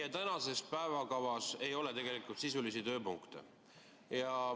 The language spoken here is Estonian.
Meie tänases päevakavas ei ole tegelikult sisulisi tööpunkte.